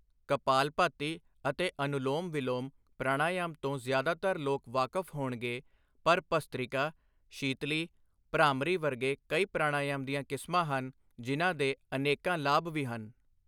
ਕਪਾਲਭਾਤੀ ਅਤੇ ਅਨੁਲੋਮ ਵਿਲੋਮ, ਪ੍ਰਾਣਾਯਾਮ ਤੋਂ ਜ਼ਿਆਦਾਤਰ ਲੋਕ ਵਾਕਫ਼ ਹੋਣਗੇ ਪਰ ਭਸਤ੍ਰਿਕਾ, ਸ਼ੀਤਲੀ, ਭ੍ਰਾਮਰੀ ਵਰਗੇ ਕਈ ਪ੍ਰਾਣਾਯਾਮ ਦੀਆਂ ਕਿਸਮਾਂ ਹਨ, ਜਿਨ੍ਹਾਂ ਦੇ ਅਨੇਕਾਂ ਲਾਭ ਵੀ ਹਨ।